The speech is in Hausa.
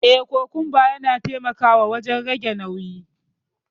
Eh, kokumba yana taimakawa wajen rage nauyi.